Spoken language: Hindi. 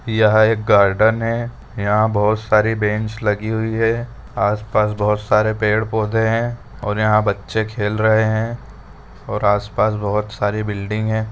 यह एक गार्डन है यहाँ बहोत सारी बेंच लगी हुई हैआसपास बहोत सारे पेड़ पौधे हैंऔर यहाँ बच्चे खेल रहे हैंऔर आसपास बहोत सारी बिल्डिंग हैं।